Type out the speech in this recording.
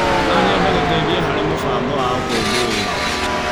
No nyende gũteithia harĩ mĩbango ya ũkũngũĩri.